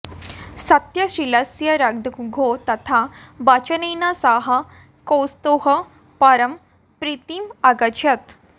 सत्यशीलस्य रघोः तथा वचनेन सः कौत्सः परां प्रीतीम् अगच्छत्